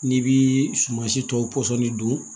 N'i bi sumansi tɔw pɔsɔni don